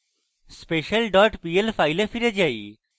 special dot pl file we file যায়